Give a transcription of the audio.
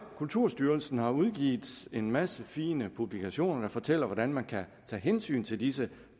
kulturstyrelsen har udgivet en masse fine publikationer der fortæller hvordan man kan tage hensyn til disse